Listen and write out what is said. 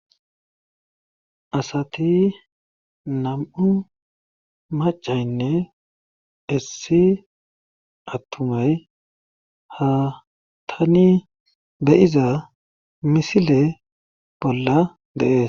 asati nam7u macaynne issi attumay ha tani beyiza misile bolla dee